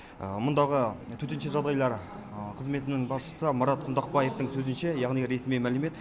мұндағы төтенше жағдайлар қызметінің басшысы марат құндақбаевтың сөзінше яғни ресми мәлімет